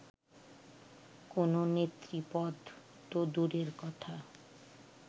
কোনো নেতৃপদ তো দূরের কথা